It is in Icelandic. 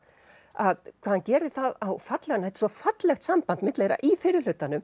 að hvað hann gerir það á fallegan þetta er svo fallegt samband á milli þeirra í fyrri hlutanum